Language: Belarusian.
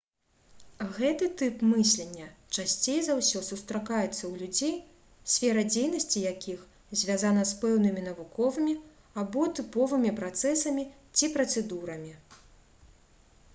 гэты тып мыслення часцей за ўсё сустракаецца ў людзей сфера дзейнасці якіх звязана з пэўнымі навуковымі або тыповымі працэсамі ці працэдурамі